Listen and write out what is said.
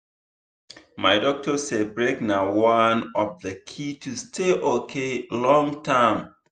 my doctor say break na one of the key to stay okay long-term.